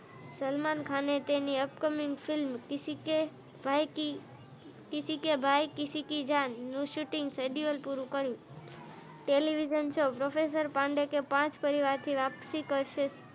સલમાન ખાને તેમની અપકમીંગફિલ્મ કિસી કે ભાઈ કે કિસી કે જાન નું શૂટિંગ નું શીડ્યુલ પૂરું કર્યું.